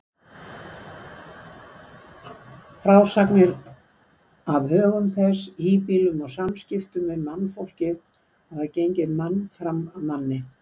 Frásagnir af högum þess, híbýlum og samskiptum við mannfólkið hafa gengið mann fram af manni.